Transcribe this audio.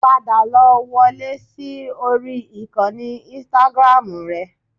Padà lọ wọlé sí orí ìkànnì Instagram rẹ